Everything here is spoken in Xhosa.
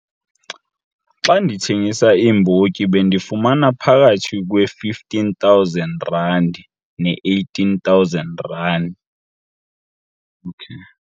Xa ndithengisa iimbotyi bendifumana phakathi kwe-R15 000 ne-R18 000.